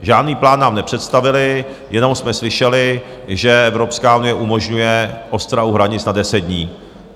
Žádný plán nám nepředstavili, jenom jsme slyšeli, že Evropská unie umožňuje ostrahu hranic na deset dní.